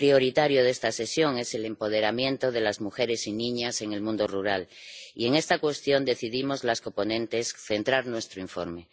El tema prioritario de esta sesión es el empoderamiento de las mujeres y las niñas en el mundo rural, y en esta cuestión decidimos las coponentes centrar nuestro informe.